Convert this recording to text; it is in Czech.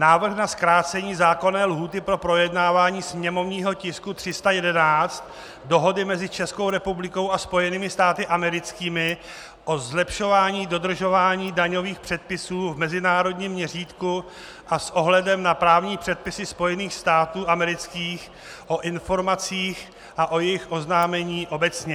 Návrh na zkrácení zákonné lhůty pro projednávání sněmovního tisku 311, Dohody mezi Českou republikou a Spojenými státy americkými o zlepšování dodržování daňových předpisů v mezinárodním měřítku a s ohledem na právní předpisy Spojených států amerických o informacích a o jejich oznámení obecně.